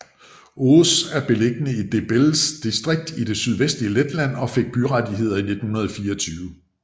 Auce er beliggende i Dobeles distrikt i det sydvestlige Letland og fik byrettigheder i 1924